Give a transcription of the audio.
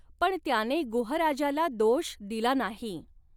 पण त्याने गुहराजाला दोष दिला नाही.